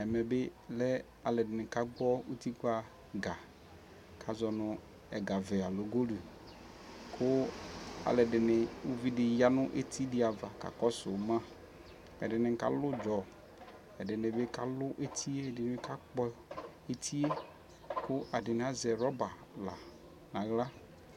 Ɛmɛ bi lɛ alʋɛdini kagbɔ utikpa ga kʋ azɔ nʋ ɛga vɛ aloo golʋdu kʋ alʋɛdi, uvidi ya nʋ eti di ava kakɔsʋ ma Ɛdini kalʋ ʋdzɔ, ɛdini bi kalʋ eti yɛ, ɛdini bi kakpɔ eti yɛ kʋ ɛdini azɛ rɔba la nʋ aɣla